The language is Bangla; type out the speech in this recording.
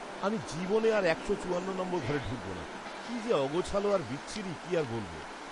আমি জীবনে আর একশো চুয়ান্ন নম্বর ঘরে ঢুকবো না, কী যে অগোছালো আর বিচ্ছিরি কি আর বলব!